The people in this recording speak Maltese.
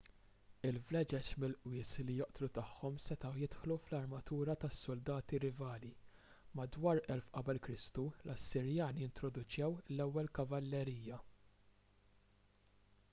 il-vleġeġ mill-qwies li joqtlu tagħhom setgħu jidħlu fl-armatura tas-suldati rivali. madwar 1000 q.k l-assirjani introduċew l-ewwel kavallerija